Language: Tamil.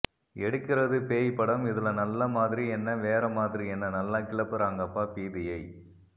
எடுக்கிறது பேய் படம் இதுல நல்ல மாதிரி என்ன வேற மாதிரி என்ன நல்லா கிளப்புறாங்கப்பா பீதியை